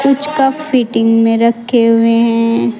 Cup fitting में रखे हुए है।